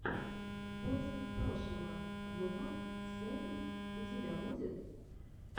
в поисках прошлого вв сэконд у тебя будет